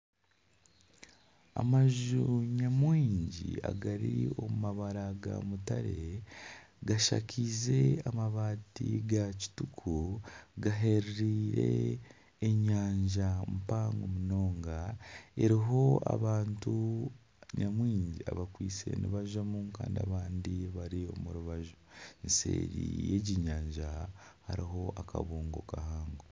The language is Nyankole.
Amaju nyamwingi agari omu mabara ga mutare, gashakaize amabaati gakituku gahereire enyanja mpango munonga eriho abantu nyamwingi abakwitse nibazamu kandi abandi bari omu rubaju seeri y'egi nyanja hariho akabungo